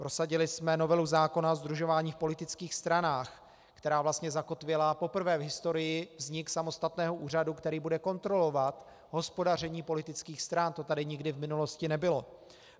Prosadili jsme novelu zákona o sdružování v politických stranách, která vlastně zakotvila poprvé v historii vznik samostatného úřadu, který bude kontrolovat hospodaření politických stran, to tady nikdy v minulosti nebylo.